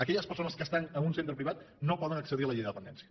aquelles persones que estan en un centre privat no poden accedir a la llei de dependència